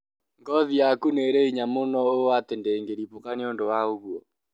Ngothi yaku nĩrĩ hinya mũno ũũ ati ndĩngĩribũka nĩũndũ wa ũgũo